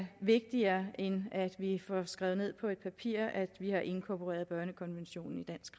vigtigere end at vi får skrevet ned på et papir at vi har inkorporeret børnekonventionen i dansk